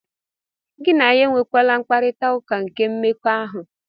Gị na ya enwekwala mkparita ụka nke mmekọahụ.